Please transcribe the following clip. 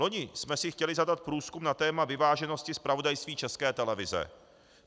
Loni jsme si chtěli zadat průzkum na téma vyváženosti zpravodajství České televize.